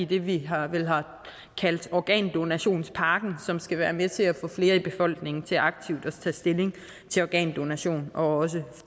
det vi har kaldt organdonationspakken som skal være med til at få flere i befolkningen til aktivt at tage stilling til organdonation og også